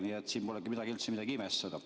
Nii et siin polegi midagi üldse imestada.